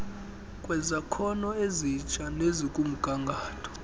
kwezakhono ezitsha nezikumgangatho